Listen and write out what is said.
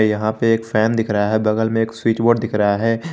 यहां पे एक फैन दिख रहा है बगल में एक स्विच बोर्ड दिख रहा है।